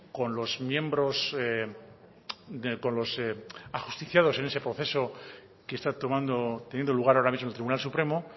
con los ajusticiados en ese proceso que está teniendo lugar ahora mismo el tribunal supremo